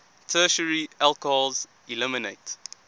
tertiary alcohols eliminate